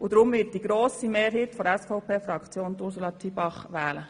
Deshalb wird die grosse Mehrheit der SVP Ursula Zybach wählen.